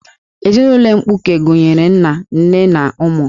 Ezinụlọ mkpuke gụnyere nna, nne, na ụmụ